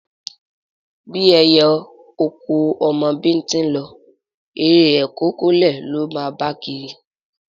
Bí ẹyẹ oko ò mọ bíntín lọ, eré e kó kọ́lé ló máa máa bá kiri.